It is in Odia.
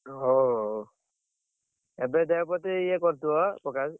ହୋ ହୋ ଏବେ ଦେହ ପ୍ରତି ଇଏ କରୁଥିବ ପ୍ରକାଶ।